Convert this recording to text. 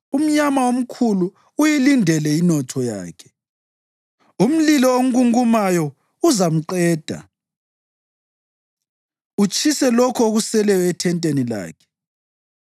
umnyama omkhulu uyilindele inotho yakhe. Umlilo ongungumayo uzamqeda utshise lokho okuseleyo ethenteni lakhe.